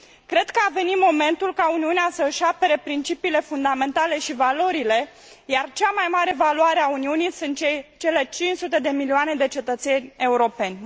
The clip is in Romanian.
Cred că a venit momentul ca Uniunea să își apere principiile fundamentale și valorile, iar cea mai mare valoare a Uniunii sunt cele 500 de milioane de cetățeni europeni.